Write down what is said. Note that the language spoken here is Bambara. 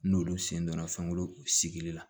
N'olu sen donna fɛnkuru sigili la